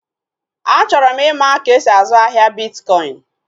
Achọrọ m ịma ka-esi azụ ahịa bitkọin